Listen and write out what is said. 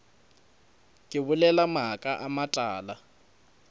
ke bolela maaka a matala